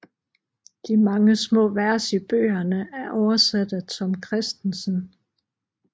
De mange små vers i bøgerne er oversat af Tom Kristensen